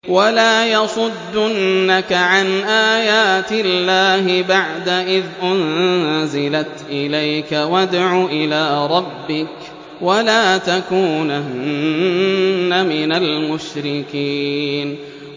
وَلَا يَصُدُّنَّكَ عَنْ آيَاتِ اللَّهِ بَعْدَ إِذْ أُنزِلَتْ إِلَيْكَ ۖ وَادْعُ إِلَىٰ رَبِّكَ ۖ وَلَا تَكُونَنَّ مِنَ الْمُشْرِكِينَ